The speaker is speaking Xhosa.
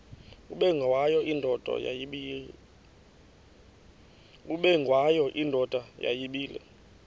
ubengwayo indoda yayibile